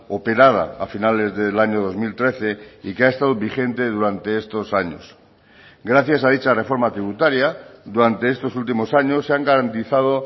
operada a finales del año dos mil trece y que ha estado vigente durante estos años gracias a dicha reforma tributaria durante estos últimos años se han garantizado